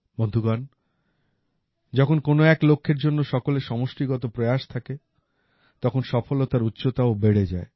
বন্ধুগণ যখন কোন এক লক্ষের জন্য সকলের সমষ্টিগত প্রয়াস থাকে তখন সফলতার উচ্চতা ও বেড়ে যায়